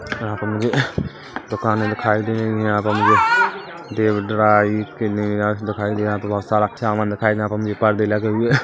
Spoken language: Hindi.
यहाँ पे मुझे दुकाने दिखाई दे रही है यहाँ पर मुझे देव ड्राई क्लीनर्स दिखाई दे रहा है बहोत सारा सामान दिखाई दे रहा है भी पर्दे लगे हुए--